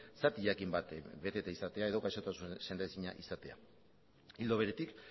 zati jakin bat beteta izatea edo gaixotasun sendaezina izatea ildo beretik